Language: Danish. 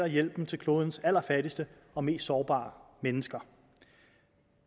hjælpen til klodens allerfattigste og mest sårbare mennesker